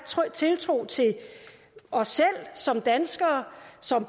tiltro til os selv som danskere